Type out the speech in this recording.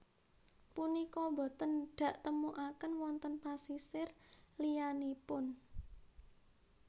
Punika boten daktemukaken wonten pasisir liyanipun